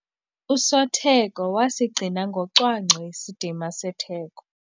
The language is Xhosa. Usotheko wasigcina ngocwangco isidima setheko.